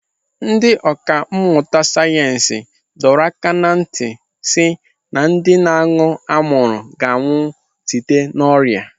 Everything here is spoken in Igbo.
Ndị ọkà mmụta sayensị dọọla aka ntị si na ndị na-aṅụ anwụrụ ga-anwụ site n'ọrịa.